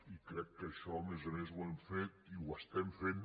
i crec que això a més a més ho hem fet i ho estem fent